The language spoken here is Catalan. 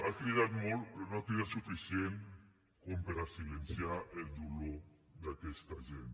ha cridat molt però no ha cridat suficient com per a silenciar el dolor d’aquesta gent